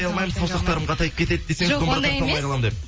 саусақтарым қатайып кетеді десең жоқ ондай емес